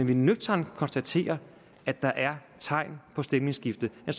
vi nøgternt konstaterer at der er tegn på et stemningsskifte er